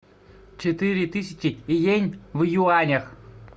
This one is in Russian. четыре тысячи йен в юанях